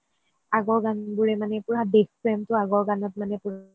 আগৰ গান বোৰৰে মানে পোৰা দেশপ্ৰেম টো আগৰ গানত মানে পোৰা